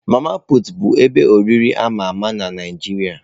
Mama pụtụ bụ ebe oriri ama ama na Naijiria.